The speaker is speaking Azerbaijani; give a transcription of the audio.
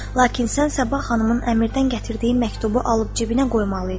Lakin sənsə Səbah xanımın əmirdən gətirdiyi məktubu alıb cibinə qoymalıydın.